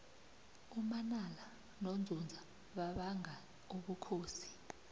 umanala nonzunza babanga ubukhosi